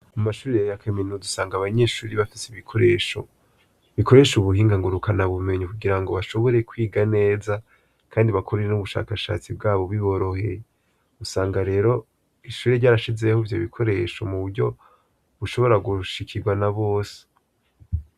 Mu mashure ya kaminuza usanga abanyeshure bafise ibikoresho, bikoresha ubuhinga ngurukana bumenyi kugirango bashobore kwiga neza kandi bakore n'ubushakashatsi bwabo biboroheye, usanga rero ishure ryashizeho ivyo bikoresho kugirango mu buryo bushobora gushikirwa na bose.